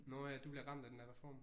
Nåh ja du bliver ramt af den der reform